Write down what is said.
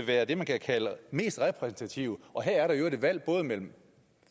er det man kan kalde mest repræsentative her er der i øvrigt et valg mellem